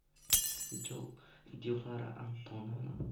дилара антоновна